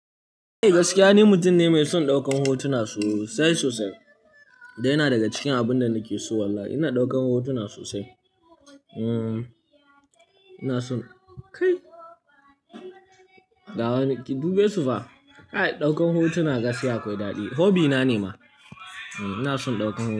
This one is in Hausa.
Eh, gaskiya ni mutum ne mai son ɗaukan hotuna sosai sosai. Da yana daga cikin abun da nake so. Wallahi ina ɗaukan hotuna sosai. Hmm, ina son kai, ga wani ki dube su fa. A'a, ɗaukan hotuna gaskiya akwai daɗi. Hobby na ne ma. Ina son ɗaukan hotuna.